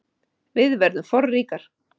Við verðum forríkar